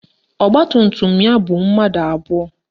Ọgbatumtum ya bu mmadụ abụọ